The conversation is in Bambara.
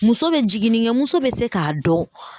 Muso bɛ jiginnikɛ muso bɛ se k'a dɔn